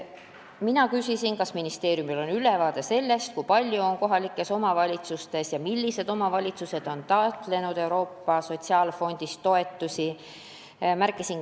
Mina küsisin, kas ministeeriumil on ülevaade sellest, millised omavalitsused on taotlenud Euroopa Sotsiaalfondist toetusi ja kui palju seda on küsitud.